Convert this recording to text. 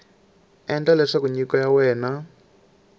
endla leswaku nyiko ya wena